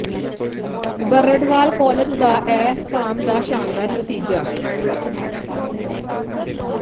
Brarwal college ਦਾ M com ਦਾ ਸ਼ਾਨਦਾਰ ਨਤੀਜਾ